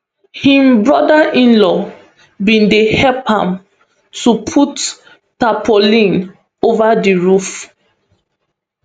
im brotherinlaw bin dey help am to put tarpaulin ova di roof